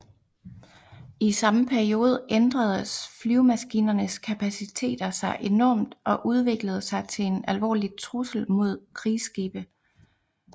I samme periode ændredes flyvemaskinernes kapaciteter sig enormt og udviklede sig til en alvorlig trussel mod krigsskibe